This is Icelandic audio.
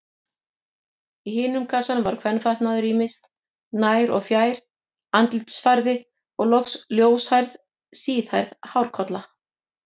Í hinum kassanum var kvenfatnaður ýmis, nær- og fjær-, andlitsfarði og loks ljóshærð, síðhærð hárkolla.